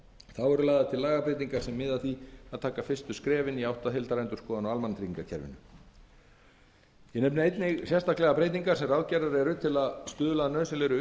þá eru lagðar til lagabreytingar sem miða að því að taka fyrstu skrefin í átt að heildarendurskoðun á almannatryggingakerfinu ég nefni einnig sérstaklega breytingar sem ráðgerðar eru til að stuðla að nauðsynlegri